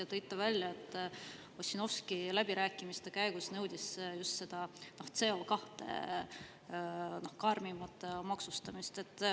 Ja te tõite välja, et Ossinovski nõudis läbirääkimiste käigus just CO2 karmimat maksustamist.